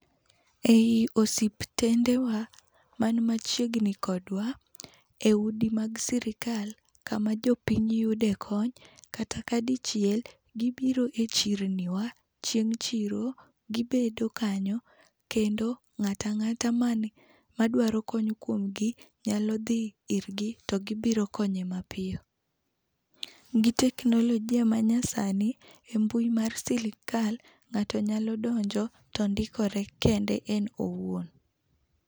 E i osiptende wa, ma ni machiegni kodwa e udi mag sirkal kama jopiny yudo e kony kata ka dichiel gi biro e chirni wa chieng chirogi bedo kanyo kendo ng'ata ang'ata mane maduaro kony kuom gi nya dhi ir gi to gi biro konye mapiyo. Gi teknolojia ma nyasani e mbui mar sirkal, ng'ato nyalo donjo to ndikore kende en owuon.